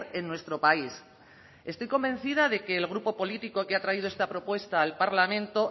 en nuestro país estoy convencida de que el grupo político que ha traído esta propuesta al parlamento